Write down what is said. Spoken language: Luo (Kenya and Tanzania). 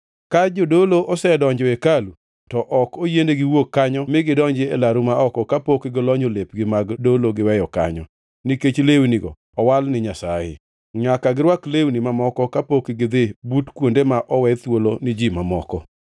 Ka jodolo osedonjo hekalu to ok oyienegi wuok kanyo mi gidonji e laru ma oko kapok gilonyo lepgi mag dolo giweyo kanyo, nikech lewnigo owal ni Nyasaye. Nyaka girwak lewni mamoko kapok gidhi but kuonde ma owe thuolo ni ji mamoko.”